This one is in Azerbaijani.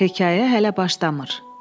Hekayə hələ başlamır.